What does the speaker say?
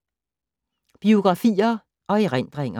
Biografier og erindringer